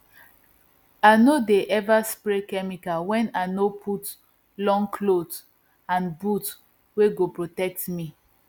i no dey ever spray chemicals when i no put long cloth and boot wey go protect me